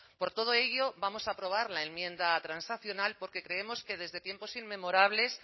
por todo ello vamos a aprobar la enmienda transaccional porque creemos que desde tiempos inmemorables